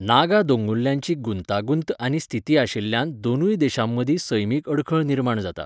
नागा दोंगुल्ल्यांची गुंतागुंत आनी स्थिती आशिल्ल्यान दोनूय देशांमदीं सैमीक आडखळ निर्माण जाता.